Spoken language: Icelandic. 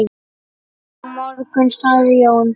Á morgun sagði Jón.